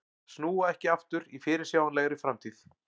Snúa ekki aftur í fyrirsjáanlegri framtíð